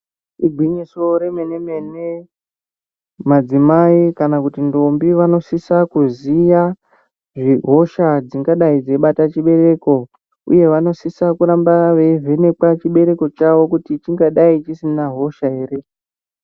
Ingwinyiso re mene mene madzimai kana kuti ndombi vano sisa kuziya zve hosha dzingadai dzei bata chibereko uye vano sisa kuramba vei vhenekwa chibereko chavo kuti chingadai chisina hosha ere.